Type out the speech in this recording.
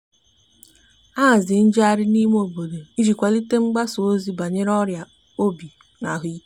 a haziri njeghari n'ime obodo iji kwalite mgbasa ozi banyere ọria obi na ahuike